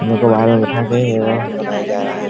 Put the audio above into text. यहाँ पर बाहर में बैठा के बनाया जा रहा है।